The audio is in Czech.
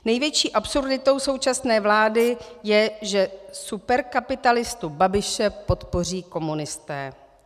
Největší absurditou současné vlády je, že superkapitalistu Babiše podpoří komunisté.